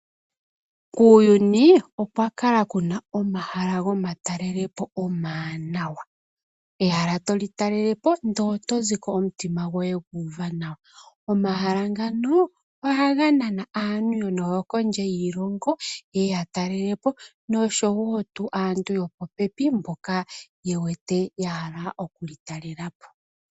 Kuuyuni okwa kala kuna omahala gomatalelo po omawaanawa. Ehala toli talele po ndele oto ziko omutima goye gu uve nawa. Omahala ngno ohaga nana aantu noyo kondje yiilongo, yeye ya talele po noshowo tuu aantu yopopepi mboka ye wete ya hala oku li talela po.